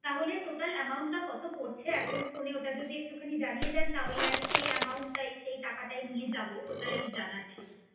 তাহলে total amount টা কত পড়ছে এখন ফোনে ওটা যদি একটু খুনি জানিয়ে দেন তাহলে সেই এমাউন্টটাই সেই টাকাটা নিয়ে যাবো ওটাই জানা ছিলো